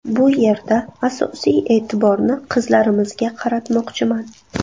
Bu yerda asosiy e’tiborni qizlarimizga qaratmoqchiman.